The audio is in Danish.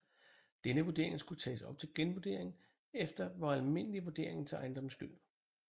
Denne vurdering skulle tages op til genvurdering efter hver almindelig vurdering til ejendomsskyld